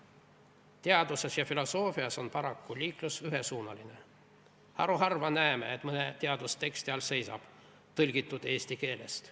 Teaduses ja filosoofias on paraku liiklus ühesuunaline: haruharva näeme, et mõne teadusteksti all seisab: "Tõlgitud eesti keelest.